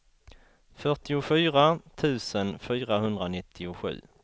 fyrtiofyra tusen fyrahundranittiosju